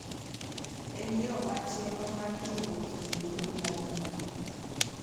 En yo machielo mar jiwo kido mar ng’uono.